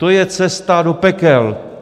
To je cesta do pekel.